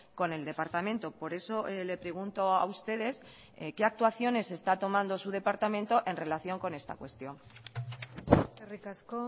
con el departamento por eso le pregunto a ustedes qué actuaciones está tomando su departamento en relación con esta cuestión eskerrik asko